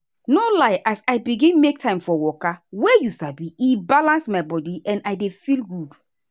no lie as i begin make time for waka wey you sabi e balance my body and i dey feel good.